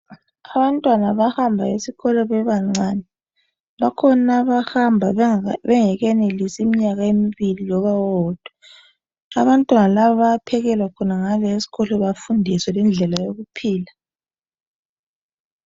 Abantwana bayahamba esikolo bebancane bakhona abahamba bengakenelisi iminyaka embili loba owodwa. Abantwana laba bayaphekelwa khonangale esikolo bafundiswe lendlela yokuphila.